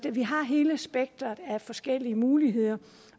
vi har hele spektret af forskellige muligheder